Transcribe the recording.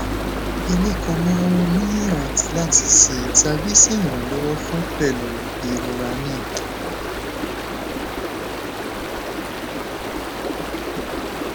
emi ko mọ ohun miiran lati ṣe tabi ṣe iranlọwọ fun pẹlu irora naa